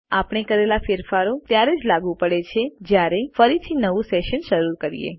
આપણે કરેલા ફેરફારો ત્યારે જ લાગુ પડે છે જયારે ફરીથી નવું સેશન શરૂ કરીએ